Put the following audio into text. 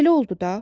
Belə oldu da.